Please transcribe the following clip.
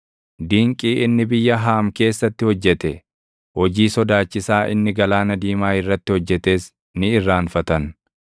Dinqii inni biyya Haam keessatti hojjete, hojii sodaachisaa inni Galaana Diimaa irratti hojjetes ni irraanfatan.